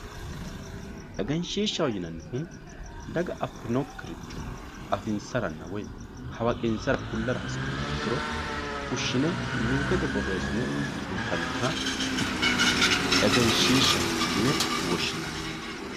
egenshiishshaho yinannihu daga affinokkiricho egensiisara woyi hawaqinsara kullara hasi'niha ikkiro fushshine luukete borreessine suntanniha egenshiishshaho yine woshshinanni.